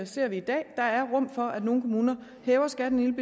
ser vi i dag der er rum for at nogle kommuner hæver skatten en